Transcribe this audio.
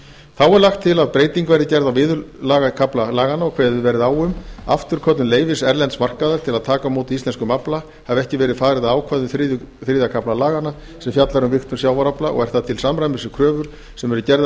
þá er lagt til að breyting verði gerð á viðurlagakafla laganna og kveðið verði á um afturköllun leyfis erlends markaðar til að taka á móti íslenskum afla hafi ekki verið farið að ákvæðum þriðja kafla laganna sem fjallar um vigtun sjávarafla og er það til samræmis við kröfur sem eru gerðar